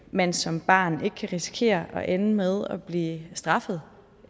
man som barn ikke kan risikere at ende med at blive straffet